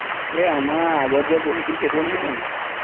এই আমাৰ আগত যে বহিছিল সেইটোৱেই নহয় জানো